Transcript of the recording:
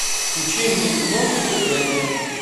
включи мне кино заклятие